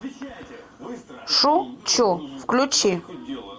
шучу включи